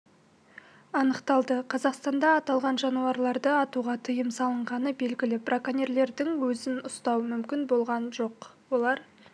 анықталды қазақстанда аталған жануарларды атуға тыйым салынғаны белгілі браконьерлердің өзін ұстау мүмкін болған жоқ олар